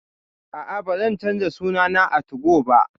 A'a, ba zan canza suna na a 2go ba